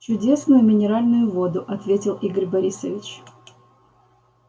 чудесную минеральную воду ответил игорь борисович